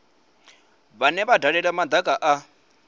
vhane vha dalela madaka a